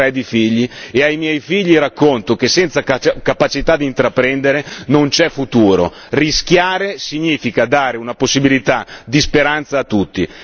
Io ne ho tre di figli e ai miei figli racconto che senza capacità di intraprendere non c'è futuro rischiare significa dare una possibilità di speranza a tutti.